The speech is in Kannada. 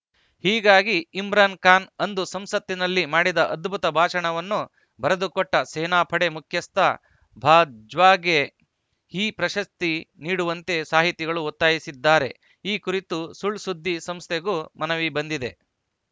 ಹೀಗಾಗಿ ಇಮ್ರಾನ್‌ ಖಾನ್‌ ಅಂದು ಸಂಸತ್ತಿನಲ್ಲಿ ಮಾಡಿದ ಅದ್ಭುತ ಭಾಷಣವನ್ನು ಬರೆದುಕೊಟ್ಟಸೇನಾಪಡೆ ಮುಖ್ಯಸ್ಥ ಬಾಜ್ವಾಗೆ ಈ ಪ್ರಶಸ್ತಿ ನೀಡುವಂತೆ ಸಾಹಿತಿಗಳು ಒತ್ತಾಯಿಸಿದ್ದಾರೆ ಈ ಕುರಿತು ಸುಳ್‌ಸುದ್ದಿ ಸಂಸ್ಥೆಗೂ ಮನವಿ ಬಂದಿದೆ